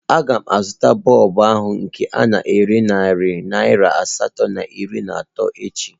A ga m azụta bọlbụ ahụ nke ana ere narị naira asatọ na iri na atọ echi